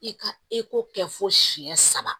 I ka eko kɛ fo siyɛn saba